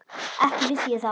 Ekki vissi ég það.